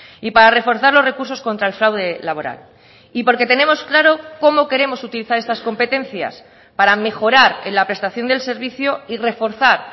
y para reforzar los recursos contra el fraude laboral y porque tenemos claro cómo queremos utilizar estas competencias para mejorar en la prestación del servicio y reforzar